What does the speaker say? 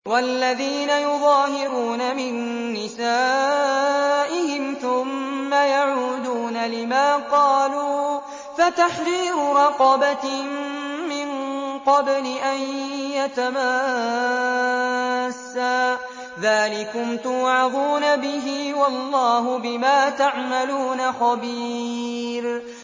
وَالَّذِينَ يُظَاهِرُونَ مِن نِّسَائِهِمْ ثُمَّ يَعُودُونَ لِمَا قَالُوا فَتَحْرِيرُ رَقَبَةٍ مِّن قَبْلِ أَن يَتَمَاسَّا ۚ ذَٰلِكُمْ تُوعَظُونَ بِهِ ۚ وَاللَّهُ بِمَا تَعْمَلُونَ خَبِيرٌ